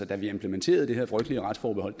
da vi implementerede det her frygtelige retsforbehold